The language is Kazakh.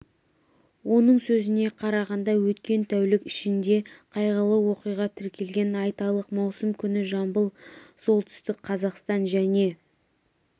оның сөзіне қарағанда өткен тәулік ішінде қайғылы оқиға тіркелген айталық маусым күні жамбыл солтүстік қазақстан және